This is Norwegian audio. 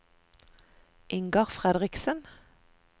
Ingar Fredriksen